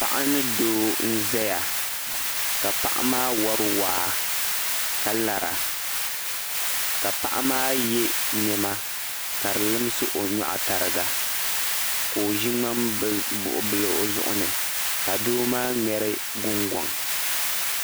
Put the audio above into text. Paɣa ni doo n zaya ka paɣa maa wari waa ka lara ka paɣa maa ye nɛma ka di limsi o nyɔɣu tariga ka o ʒi ŋmanbuɣubili o zuɣu ni ka doo maa ŋmeri gungɔŋ.